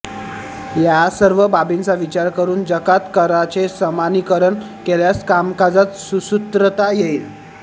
या सर्व बाबींचा विचार करून जकात कराचे समानीकरण केल्यास कामकाजात सुसूत्रता येईल